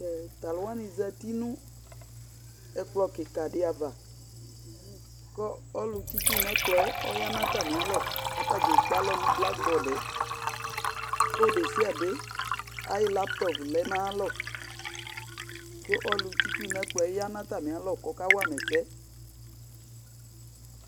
Tʋ alʋ wanɩ zati nʋ ɛkplɔ kɩka dɩ ava kʋ ɔlʋtsɩ itsu nʋ ɛkplɔ yɛ ɔya nʋ atamɩalɔ kʋ ata dza ekpe alɔ nʋ blakbɔd yɛ Kʋ ɔlʋ desiade ayʋ laptɔp lɛ nʋ ayalɔ kʋ ɔlʋtsɩ itsu nʋ ɛkplɔ yɛ ya nʋ atamɩalɔ kʋ ɔkawa ma ɛsɛ